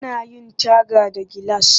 Ana yin taga da gilas